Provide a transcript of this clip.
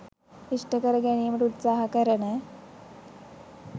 ඉෂ්ඨ කරගැනීමට උත්සාහ කරන